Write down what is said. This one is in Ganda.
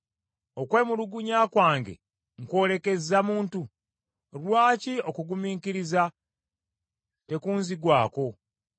“Okwemulugunya kwange nkw’olekezza muntu? Lwaki okugumiikiriza tekunzigwako?